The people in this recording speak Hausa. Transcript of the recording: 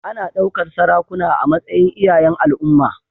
Ana ɗaukar sarakuna a matsayin iyayen al'umma.